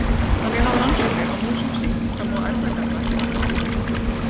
Þannig hafa rannsóknir á músum sýnt fram á erfðagalla sem valda offitu.